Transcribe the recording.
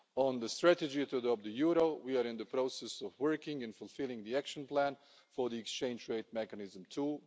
On the strategy to adopt the euro, we are in the process of working and fulfilling the action plan for the Exchange Rate Mechanism too.